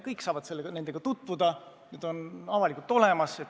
Kõik saavad nendega tutvuda, need on avalikult üleval.